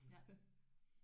Ja